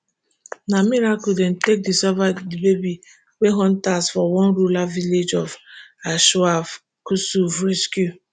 na miracle dem take discover di baby wey hunters for one rural village of anshav kusuv rescue